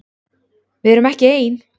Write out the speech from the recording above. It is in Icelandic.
Við erum ekki ein!